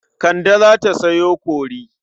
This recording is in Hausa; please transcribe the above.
Kande za ta sayo kori.